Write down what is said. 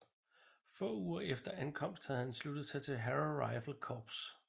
Få uger efter ankomst havde han sluttet sig til Harrow Rifle Corps